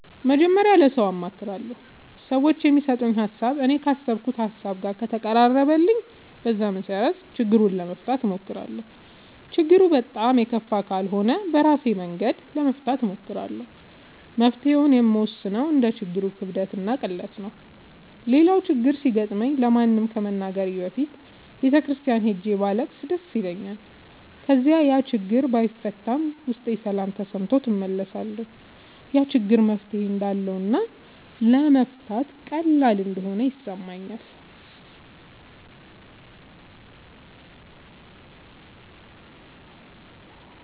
መጀመሪያ ለሠው አማክራለሁ። ሠዎቹ የሚሠጡኝ ሀሣብ እኔ ካሠብኩት ሀሳብ ጋር ከተቀራረበልኝ በዛ መሠረት ችግሩን ለመፍታት እሞክራለሁ። ችግሩ በጣም የከፋ ካልሆነ ደግሞ በራሴ መንገድ ለመፍታት እሞክራለሁ። መፍትሔውን የምወስነው እንደ ችግሩ ክብደትና ቅለት ነው። ሌላው ችግር ሲገጥመኝ ለማንም ከመናገሬ በፊት ቤተ ክርስቲያን ሄጄ ባለቅስ ደስ ይለኛል። ከዚያ ያችግር ባይፈታም ውስጤ ሠላም ተሠምቶት እመለሳለሁ። ያ ችግር መፍትሔ እንዳለውና ለመፍታት ቀላል እንደሆነ ይሠማኛል።